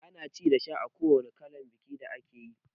Ana ci da sha a kowanne kalan bikin da akeyi